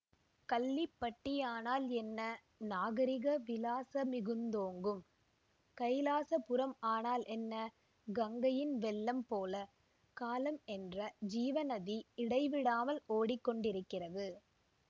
கள்ளிப்பட்டியானால் என்ன நாகரிக விலாசமிகுந்தோங்கும் கைலாசபுரம் ஆனால் என்ன கங்கையின் வெள்ளம்போல காலம் என்ற ஜீவநதி இடைவிடாமல் ஓடி கொண்டிருக்கிறது